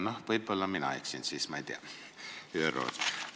Ma ei tea, võib-olla siis mina eksin.